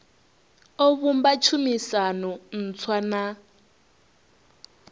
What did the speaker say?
o vhumba tshumisano ntswa na